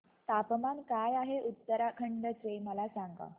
तापमान काय आहे उत्तराखंड चे मला सांगा